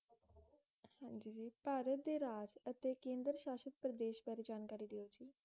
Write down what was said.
ਹਾਂਜੀ ਜੀ ਭਾਰਤ ਦੇ ਰਾਜ ਅਤੇ ਕੇਂਦਰ ਸ਼ਾਸ਼ਤ ਪ੍ਰਦੇਸ਼ ਬਾਰੇ ਜਾਣਕਾਰੀ ਦਿਓ ਜੀ